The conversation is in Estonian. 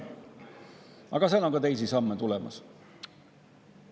Aga on ka teisi samme tulemas.